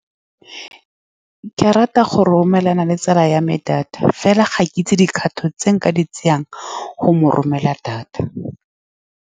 Ke rata go romelela tsala ya me data, mme fela ga ke itse dikgato tse nka di tsayang go mo romelela data.